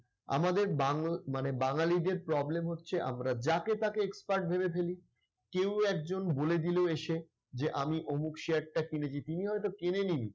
আমাদের বাংল মানে বাঙ্গালীদের problem হচ্ছে আমরা যাকে তাকে expert ভেবে ফেলি। কেউ একজন বলে দিল এসে যে আমি অমুক share টা কিনেছি তিনি হয়তো কিনেনই নি।